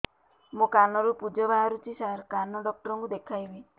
ମୋ କାନରୁ ପୁଜ ବାହାରୁଛି ସାର କାନ ଡକ୍ଟର କୁ ଦେଖାଇବି